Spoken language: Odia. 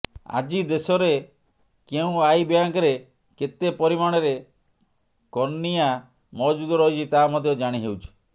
ଆଜି ଦେଶରେ କେଉଁ ଆଇ ବ୍ୟାଙ୍କରେ କେତେ ପରିମାଣରେ କର୍ନିଆ ମହଜୁଦ ରହିଛି ତାହା ମଧ୍ୟ ଜାଣିହେଉଛି